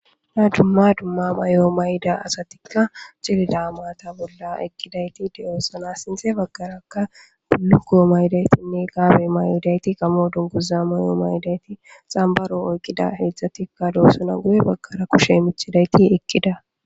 Ha dumma dumma may7o mayida asatikka cilida mata bolla ekkidayti deyoosana sinthe baggarakka guluko maydaysinne gaabe mayoidayti gamo dunguza may7o mayidayti xambaro oykqida hedzdzatikka doossana guye baggara kushe michidayti ekkida